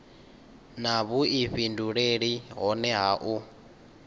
na vhuifhinduleli hohe ha u